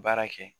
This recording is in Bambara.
Baara kɛ